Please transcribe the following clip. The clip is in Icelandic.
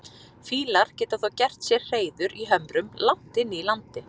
Fýlar geta þó gert sér hreiður í hömrum langt inni í landi.